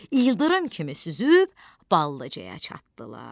İldırım kimi süzüb Ballıcaya çatdılar.